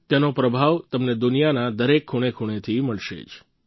તેનો પ્રભાવ તમને દુનિયાના દરેક ખૂણેખૂણેથી મળે જશે